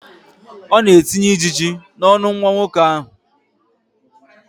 Ọ na-etinye ijiji n'ọnụ nwa nwoke ahụ.